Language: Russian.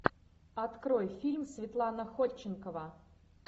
открой фильм светлана ходченкова